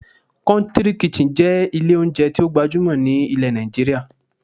"Country kitchen" jé ilé oúnjẹ tí ó gbajúmọ̀ ní ilẹ̀ Nàìjíríà